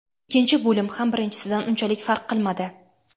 Ikkinchi bo‘lim ham birinchisidan unchalik farq qilmadi.